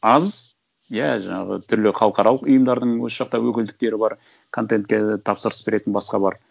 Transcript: аз иә жаңағы түрлі халықаралық ұйымдардың осы жақта өкілдіктері бар контентке тапсырыс беретін басқа бар